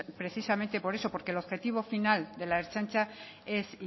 precisamente por eso porque el objetivo final de la ertzaintza es